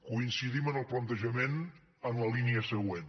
coincidim en el plantejament en la línia següent